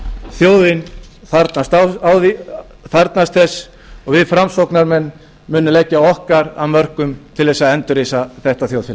þjóðin þarfnast þess og við framsóknarmenn munum leggja okkar af mörkum til þess að endurreisa þetta þjóðfélag